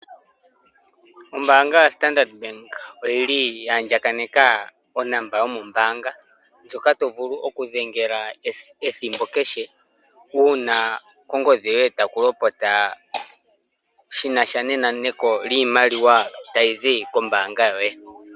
Ombaanga yaStandard Bank oyili yahandjakaneka onomola yomombaanga ndjoka tovulu okudhengela ethimbo kehe uuna kongodhi yoye takulopota shinasha nenaneko liimaliwa tayi zi kombaanga yoye.